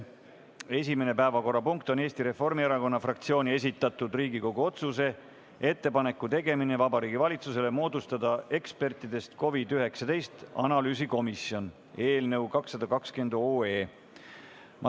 Esimene päevakorrapunkt on Eesti Reformierakonna fraktsiooni esitatud Riigikogu otsuse "Ettepaneku tegemine Vabariigi Valitsusele moodustada ekspertidest COVID-19 analüüsikomisjon" eelnõu 220.